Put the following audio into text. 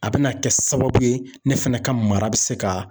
A bɛna kɛ sababu ye ne fɛnɛ ka mara bi se ka